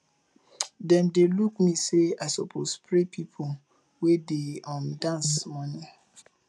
dem dey look me sey i suppose spray pipo wey dey um dance moni